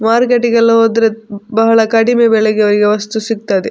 ಮಾರ್ಕೆಟಿಗೆಲ್ಲ ಹೋದ್ರೆ ಬಹಳ ಕಡಿಮೆ ಬೆಲೆಗೆ ವಸ್ತು ಸಿಗ್ತದೆ.